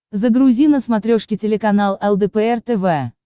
загрузи на смотрешке телеканал лдпр тв